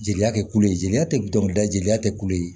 Jeliya tɛ kulo ye jeliya tɛ dɔnkilida jeliya tɛ kulu ye